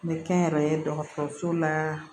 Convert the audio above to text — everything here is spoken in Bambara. Me kɛ n yɛrɛ ye dɔgɔtɔrɔso la